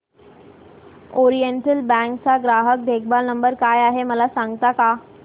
oriental Bank चा ग्राहक देखभाल नंबर काय आहे मला सांगता का